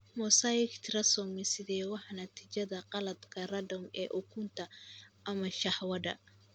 Mosaic trisomy sided waa natiijada khaladka random ee ukunta ama shahwada.